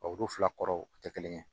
O fila kɔrɔ o tɛ kelen ye